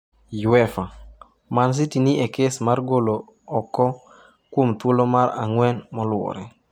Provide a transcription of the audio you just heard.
Uefa: Man City ni e kes mar golo oko kuom thuolo mar ang'wen moluwore